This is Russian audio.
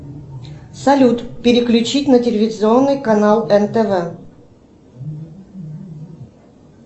салют переключить на телевизионный канал нтв